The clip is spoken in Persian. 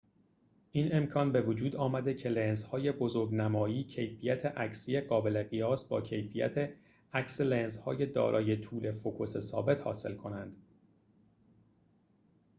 این امکان بوجود آمده که لنزهای بزرگ‌نمایی کیفیت عکسی قابل قیاس با کیفیت عکس لنزهای دارای طول فوکوس ثابت حاصل کنند